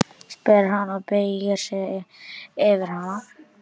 spyr hann og beygir sig yfir hana.